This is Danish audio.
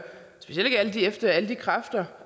specielt efter alle de kræfter